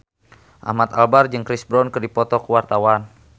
Ahmad Albar jeung Chris Brown keur dipoto ku wartawan